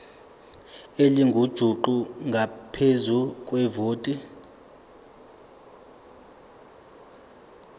elingujuqu ngaphezu kwevoti